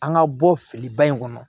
An ka bɔ filiba in kɔnɔ